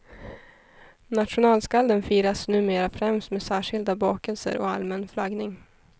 Nationalskalden firas numera främst med särskilda bakelser och allmän flaggning.